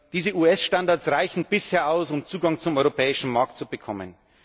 Diese US Standards reichen bisher aus, um Zugang zum europäischen Markt zu bekommen.